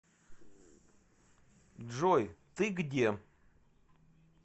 джой ты где